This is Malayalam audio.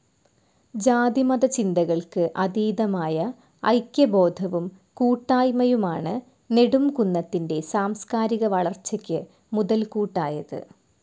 ജാതിമത ചിന്തകൾക്ക്‌ അതീതമായ ഐക്യബോധവും കൂട്ടായ്മയുമാണ്‌ നെടുംകുന്നത്തിൻ്റെ സാംസ്കാരിക വളർച്ചക്ക്‌ മുതൽകൂട്ടായത്‌.